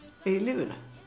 í lífinu